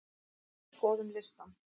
Skoðum listann!